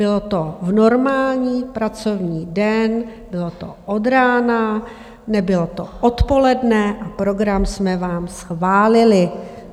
Bylo to v normální pracovní den, bylo to od rána, nebylo to odpoledne a program jsme vám schválili.